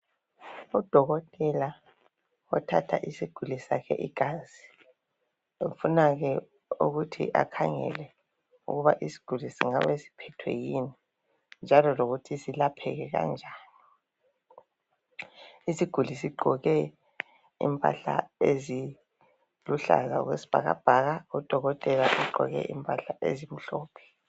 Udokotela othatha isiguli sakhe igazi ufuna ukukhangela ukuthi isiguli singabe siphethwe kuyini njalo singelapheka kanjani. Isiguli sigqoke impahla eziluhlaza okwesibhakabhaka udokotela ugqoke impahla ezimhlophe.